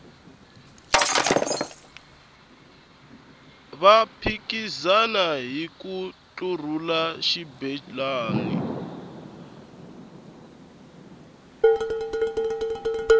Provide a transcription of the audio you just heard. va phikizana hiku ntlurhula xibelani